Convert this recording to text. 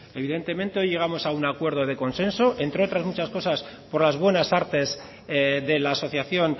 evidentemente hoy llegamos a un acuerdo de consenso entre otras muchas cosas por las buenas artes de la asociación